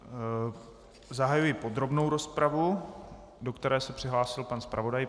Zahajuji podrobnou rozpravu, do které se přihlásil pan zpravodaj.